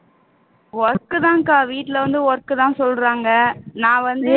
work தான்க்கா வீட்ல வந்து work தான் சொல்றாங்க நான் வந்து